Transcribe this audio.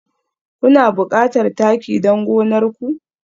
Kuna buƙatar taki don gonar ku?